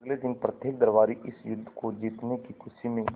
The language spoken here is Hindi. अगले दिन प्रत्येक दरबारी इस युद्ध को जीतने की खुशी में